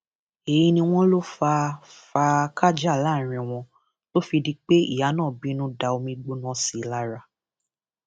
èyí ni wọn lọ fà fáakájàá láàrin wọn tó fi di pé ìyá náà bínú da omiígbóná sí i lára